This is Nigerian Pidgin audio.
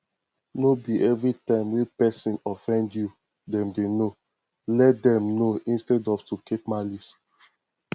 no be everytime wey person offend you dem dey know let them know instead of to dey keep malice